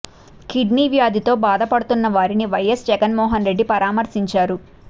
kidney వ్యాధితో బాధపడుతున్న వారిని వైయస్ జగన్ మోహన్ రెడ్డి పరామర్శించారు